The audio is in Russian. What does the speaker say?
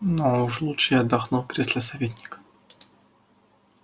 но уж лучше я отдохну в кресле советника